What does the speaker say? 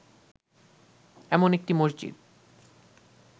এমন একটি মসজিদ